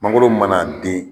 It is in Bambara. Magoro mana den